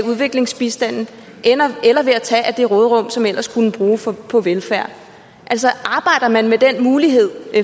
udviklingsbistanden eller ved at tage af det råderum som ellers skulle bruges på velfærd altså arbejder man med den mulighed